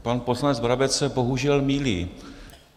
Pan poslanec Brabec se bohužel mýlí.